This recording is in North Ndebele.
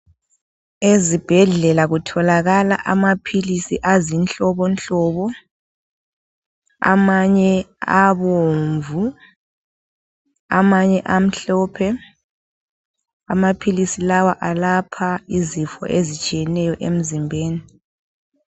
Ezibhedlela kutholakala amaphilisi azinhlobonhlobo, amanye abomvu ,amanye amhlophe. Amaphilisi la alapha izifo ezitshiyeneyo emzimbeni.